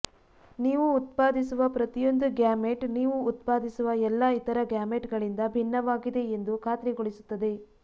ನೀವು ಉತ್ಪಾದಿಸುವ ಪ್ರತಿಯೊಂದು ಗ್ಯಾಮೆಟ್ ನೀವು ಉತ್ಪಾದಿಸುವ ಎಲ್ಲಾ ಇತರ ಗ್ಯಾಮೆಟ್ಗಳಿಂದ ಭಿನ್ನವಾಗಿದೆ ಎಂದು ಖಾತ್ರಿಗೊಳಿಸುತ್ತದೆ